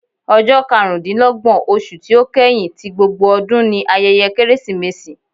Ọjọ karundinlọgbọn oṣu ti o kẹhin ti gbógbó ọdun ni ayẹyẹ Keresimesi.